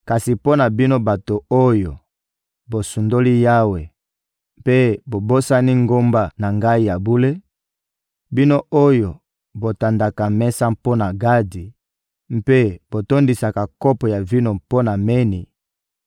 Kasi mpo na bino bato oyo bosundoli Yawe mpe bobosani ngomba na Ngai ya bule, bino oyo botandaka mesa mpo na Gadi mpe botondisaka kopo ya vino mpo na Meni,